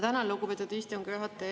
Tänan, lugupeetud istungi juhataja!